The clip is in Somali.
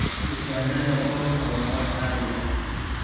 Kutaannada goobta waa wax caadi ah.